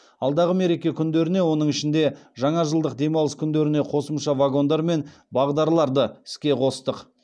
алдағы мереке күндеріне оның ішінде жаңажылдық демалыс күндеріне қосымша вагондар мен бағдарларды іске қостық